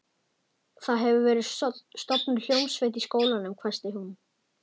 Það hefur verið stofnuð hljómsveit í skólanum hvæsti hún.